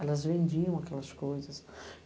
Elas vendiam aquelas coisas.